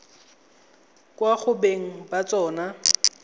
kwa go beng ba tsona